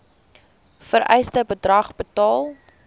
vereiste bedrag betaal